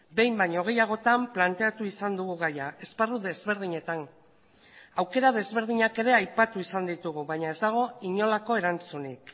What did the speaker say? behin baino gehiagotan planteatu izan dugu gaia esparru desberdinetan aukera desberdinak ere aipatu izan ditugu baina ez dago inolako erantzunik